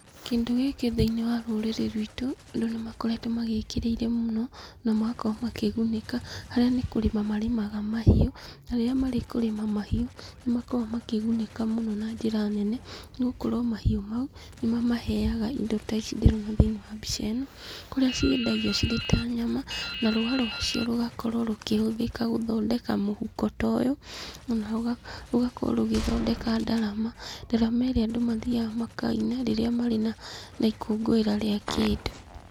Kĩndũ gĩkĩ thĩiniĩ wa rũrĩrĩ rwitũ , andũ nĩ makoragwo magĩkĩrĩire mũno, na magakorwo makĩgunĩka, harĩa nĩ kũrĩma marĩmaga mahiũ ,na rĩrĩa marĩ kũrĩma mahiũ, nĩ makoragwo makĩgunĩka mũno na njĩra nene, nĩgũkorwo mahiũ mau, nĩ ma maheaga indo ta ici ndĩrona thĩiniĩ wa mbica ĩno, iria ciendagio cirĩ ta nyama, na rũũa rwacio rũgakorwo rũkĩhũthĩka mũhuko ta ũyũ, na ũgakorwo ũgĩthondeka ndarama, ndarama iria andũ mathiaga makaina rĩrĩa marĩ na ikũngũĩra rĩa kĩndũ.